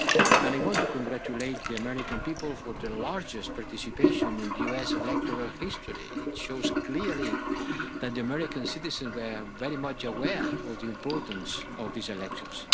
And I want to congratulate the American people for the largest participation in US electoral history, which shows clearly that the American citizens were very much aware of the importance of these elections.